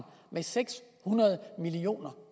med seks hundrede million